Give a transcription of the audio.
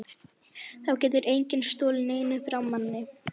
Þá getur enginn stolið neinu frá manni.